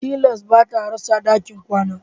Tilas bata rasa ɗakin kwana